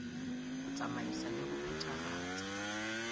ho tsamaisa le ho phethahatsa